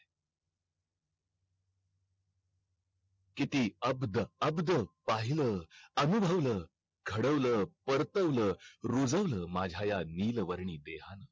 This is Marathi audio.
किती अवध अवध पाहिला अनुभवल घडवल परतवल रुजवल माझ्या ह्या नील वर्णी देहान